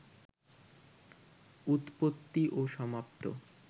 উৎপত্তি ও সমাপ্ত